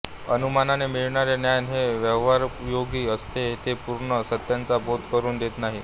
अनुमानाने मिळणारे ज्ञान हे व्यवहारोपयोगी असते ते पूर्ण सत्याचा बोध करून देत नाही